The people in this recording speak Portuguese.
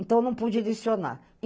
Então eu não pude licionar.